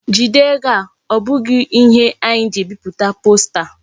Jide ego a! O bughi ihe anyi ji ebiputa posta.